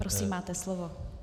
Prosím máte slovo.